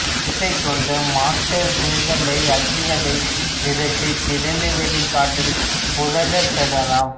சேற்றைக் கொண்டு மட்செங்கல்லை அச்சுகளில் நிரப்பித் திறந்தவெளிக் காற்றில் உலர்த்திப் பெறலாம்